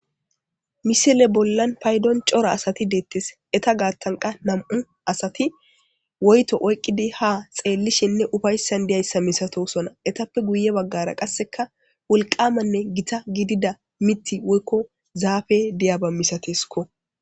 Misile bollam paydon cora asati deetes eta gathan qase nam'u asati woyto oykidi ha xeelishenne ufaysan diyaba milatosona etappe guye bagara wolqanne Gita gidida mithay woyko zaapey diyaba milatesko